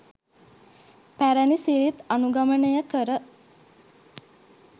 පැරැණි සිරිත් අනුගමනය කර